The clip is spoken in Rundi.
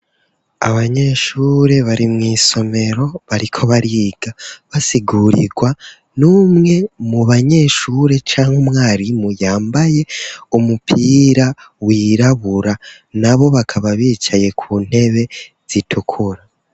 Abanyeshure, bari mw'isomero, bariko bariga; basigurirwa n'umwe mu banyeshure, canke umwarimu, yambaye umupira wirabura; na bo, bakaba bicaye ku ntebe zitukura.